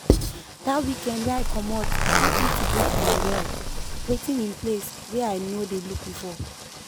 that weekend wey i comot help me to look my well wetin in place wey i no dey look before.